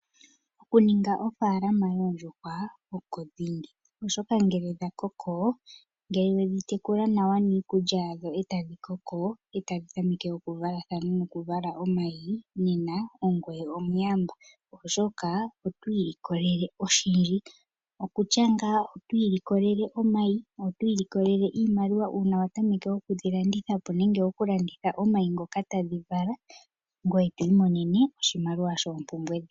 Okuninga ofaalama yoondjuhwa oko dhingi. Oshoka ngele wedhi tekula nawa niikulya yawo ndele tadhi koko, e tadhi tameke okuvalathana nokuvala omayi nena ongoye omuyamba. Oshoka otwiilikolele oshindji. Okutya ngaa oto ilikolele omayi notwiilikolelele iimaliwa uuna wa tameke okudhilanditha po, nenge okulanditha omayi ngoka tadhi vala. Ngoye to imonene oshimaliwa shoompumbwe.